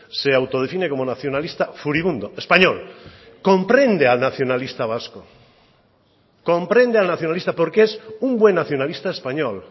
se autodefine como nacionalista furibundo español comprende al nacionalista vasco comprende al nacionalista porque es un buen nacionalista español